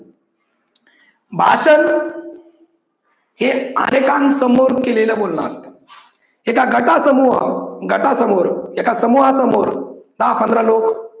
भाषण हे अनेकांसमोर केलेलं बोलणं असतं. एका गटा समोर, गटा समोर, एका समूहा समोर, दहा पंधरा लोक